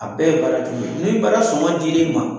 A bɛɛ ye baaratigi ye, ni baara sɔngɔ dir'i ma